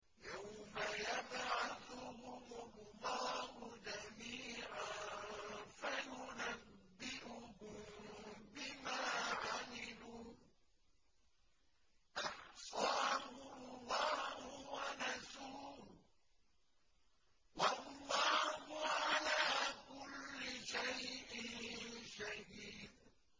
يَوْمَ يَبْعَثُهُمُ اللَّهُ جَمِيعًا فَيُنَبِّئُهُم بِمَا عَمِلُوا ۚ أَحْصَاهُ اللَّهُ وَنَسُوهُ ۚ وَاللَّهُ عَلَىٰ كُلِّ شَيْءٍ شَهِيدٌ